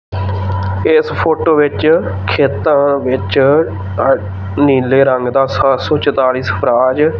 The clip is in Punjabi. ਇਸ ਫੋਟੋ ਵਿੱਚ ਖੇਤਾਂ ਵਿੱਚ ਅ ਨੀਲੇ ਰੰਗ ਦਾ ਸੱਤ ਸੋ ਚਤਾਲੀ ਸਵਰਾਜ--